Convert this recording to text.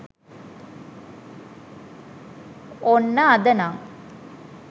ඔන්න අදනං